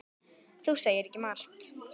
Þú segir ekki margt.